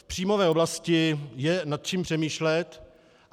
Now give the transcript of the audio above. V příjmové oblasti je nad čím přemýšlet.